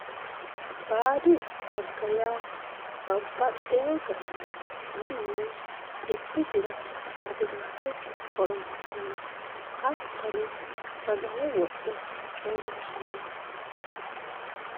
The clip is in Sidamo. Baadi xagga yaa babbaxxino garinni mannu xibbisira xaginate horonsirano hattono sagale wodhe coomishirano.